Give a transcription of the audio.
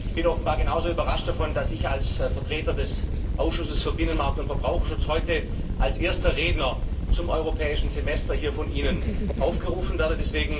Herr Präsident! Ich bin offenbar genauso überrascht davon, dass ich als Vertreter des Ausschusses für Binnenmarkt und Verbraucherschutz heute als erster Redner zum Europäischen Semester hier von Ihnen aufgerufen werde.